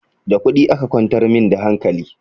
Da kuɗi aka kwantar min da hankali